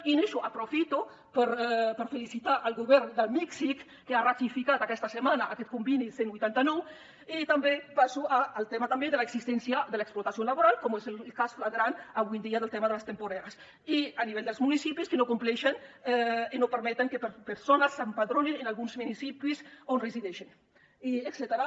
i amb això aprofito per felicitar el govern de mèxic que ha ratificat aquesta setmana aquest conveni cent i vuitanta nou i també passo al tema de l’existència de l’explotació laboral com és el cas flagrant avui en dia del tema de les temporeres i a nivell dels municipis que no compleixen i no permeten que persones s’empadronin en alguns municipis on resideixen etcètera